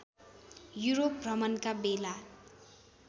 Europe भ्रमणका बेला